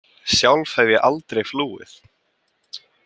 Sjálf hef ég aldrei flúið.